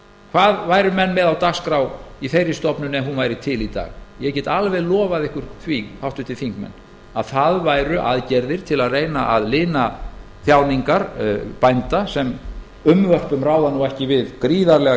hvað væru menn með á dagskrá í þeirri stofnun ef hún væri til í dag ég get alveg lofað ykkur því háttvirtir þingmenn að það væru aðgerðir til að reyna að lina þjáningar bænda sem unnvörpum ráða ekki við gríðarlega